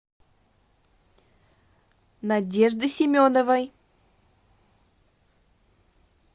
надежды семеновой